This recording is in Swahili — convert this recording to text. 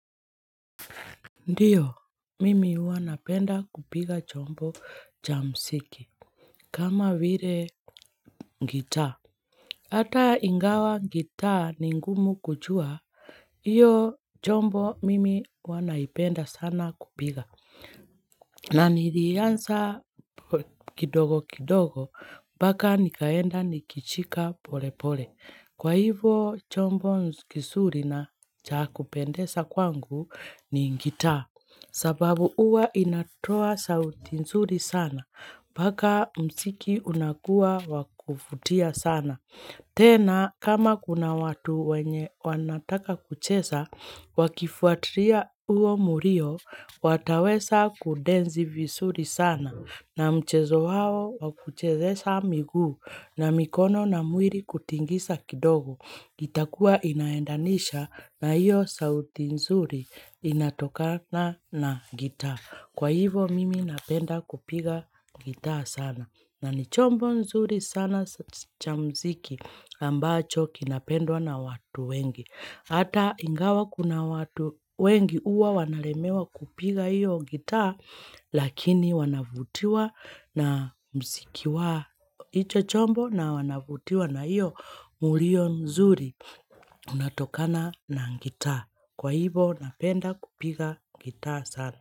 Ndiyo, mimi huwa napenda kupiga chombo cha mziki. Kama vile gitaa. Hata ingawa gitaa ni ngumu kujua, iyo chombo mimi huwa naipenda sana kupiga. Na nilianza kidogo kidogo, mpaka nikaenda nikishika pole pole. Kwa hivo chombo nkizuri na cha kupendesa kwangu ni gitaa sababu huwa inatoa sauti nzuri sana, mpaka mziki unakua wa kuvutia sana. Tena, kama kuna watu wanataka kucheza, wakifuatilia huo mlio, wataweza kudeni vizuri sana. Na mchezo wao wa kuchezesha miguu na mikono na mwili kutingiza kidogo. Itakuwa inaendanisha na hiyo sauti nzuri inatokana na gitaa. Kwa hivo mimi napenda kupiga gitaa sana. Na ni chombo zuri sana cha mziki ambacho kinapendwa na watu wengi. Hata ingawa kuna watu wengi huwa wanalemewa kupiga hiyo gitaa lakini wanavutiwa na msziki wa hicho chombo na wanavutiwa na hiyo mlio mzuri unatokana na gitaa. Kwa hivo napenda kupiga gitaa sana.